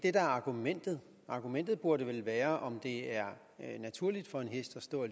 er argumentet argumentet burde vel være om det er naturligt for en hest at stå